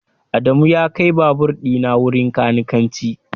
Adamu ya kai babur dina wurin kanikanci